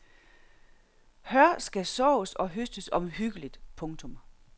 Hør skal sås og høstes omhyggeligt. punktum